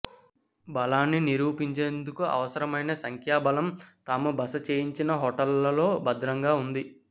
బలాన్ని నిరూపించేందుకు అవసరమైన సంఖ్యా బలం తాము బస చేయించిన హోటళ్లలో భద్రంగా ఉంది